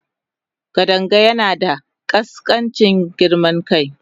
Kadanga yana da ƙaskancin girman kai.